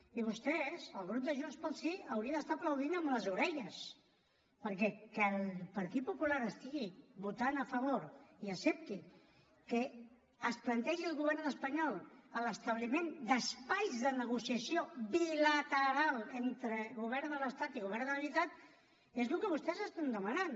i vostès el grup de junts pel sí hauria d’estar aplaudint amb les orelles perquè que el partit popular estigui votant a favor i accepti que es plantegi al govern espanyol l’establiment d’espais de negociació bilateral entre govern de l’estat i govern de la generalitat és el que vostès estan demanant